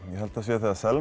þegar Selma